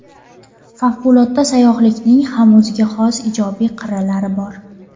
Favqulodda sayyohlikning ham o‘ziga xos ijobiy qirralari bor.